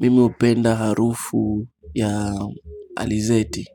Mimi hupenda harufu ya alizeti